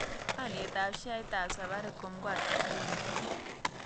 Alyetap sheaitap safaricom ko ata nguno